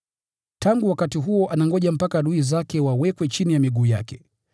Tangu wakati huo anangoja mpaka adui zake wawekwe chini ya miguu yake,